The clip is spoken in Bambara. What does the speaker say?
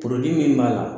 min b'a la